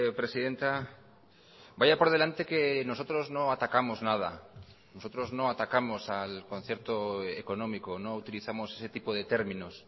presidenta vaya por delante que nosotros no atacamos nada nosotros no atacamos al concierto económico no utilizamos ese tipo de términos